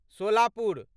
Solapur